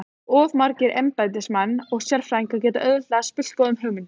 Of margir embættismenn og sérfræðingar geta auðveldlega spillt góðum hugmyndum.